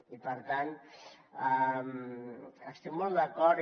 i per tant hi estic molt d’acord